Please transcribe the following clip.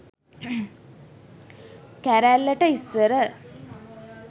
කැරැල්ලට ඉස්සර